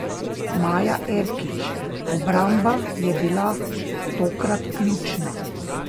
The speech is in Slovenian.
Maja Erkić: 'Obramba je bila tokrat ključna.